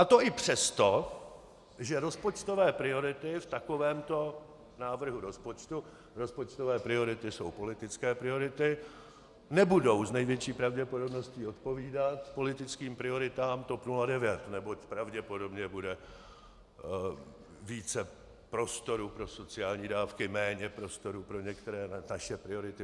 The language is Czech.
A to i přesto, že rozpočtové priority v takovémto návrhu rozpočtu - rozpočtové priority jsou politické priority - nebudou s největší pravděpodobností odpovídat politickým prioritám TOP 09, neboť pravděpodobně bude více prostoru pro sociální dávky, méně prostoru pro některé naše priority.